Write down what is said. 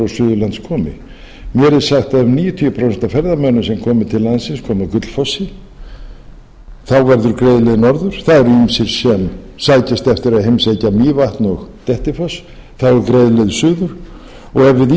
suðurlands komi mér er sagt að um níutíu prósent af ferðamönnum komi til landi komi að gullfossi þá verður greið leið norður það eru ýmsir sem sækjast eftir að heimsækja mývatn og dettifoss þá er greið leið suður og ef við